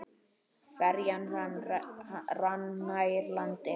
Ferjan rann nær landi.